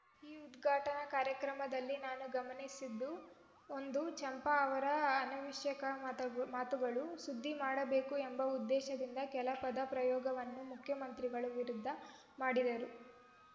ಈ ಉದ್ಘಾಟನಾ ಕಾರ್ಯಕ್ರಮದಲ್ಲಿ ನಾನು ಗಮನಿಸಿದ್ದು ಒಂದು ಚಂಪಾ ಅವರ ಆ ಅನವಶ್ಯಕ ಮತ ಮಾತುಗಳು ಸುದ್ದಿ ಮಾಡಬೇಕು ಎಂಬ ಉದ್ದೇಶದಿಂದ ಕೆಲ ಪದ ಪ್ರಯೋಗವನ್ನು ಮುಖ್ಯಮಂತ್ರಿಗಳ ವಿರುದ್ಧ ಮಾಡಿದರು